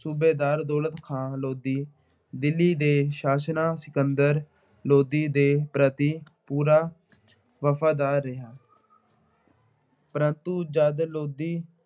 ਸੂਬੇਦਾਰ ਦੌਲਤ ਖਾਂ ਲੋਧੀ, ਦਿੱਲੀ ਦੇ ਸ਼ਾਸਨਾਂ ਸਿਕੰਦਰ ਲੋਧੀ ਪ੍ਰਤੀ ਪੂਰਾ ਵਫ਼ਾਦਾਰ ਰਿਹਾ। ਪ੍ਰੰਤੂ ਜਦ ਲੋਧੀ